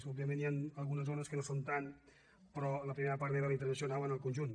òbviament hi han algunes zones que no ho són tant però la primera part de la meva intervenció anava al conjunt